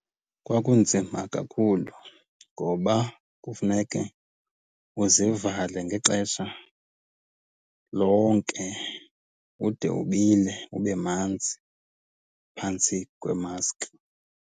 Kwakunzima kakhulu ngoba kufuneke uzivale ngexesha lonke ude ubile ube manzi phantsi kwemaski.